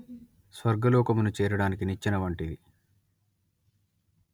స్వర్గలోకమును చేరడానికి నిచ్చెన వంటిది